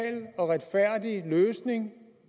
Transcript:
og retfærdig løsning